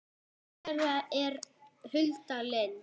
dóttir þeirra er Hulda Lind.